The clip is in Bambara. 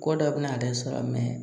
Ko dɔ bɛna ale sɔrɔ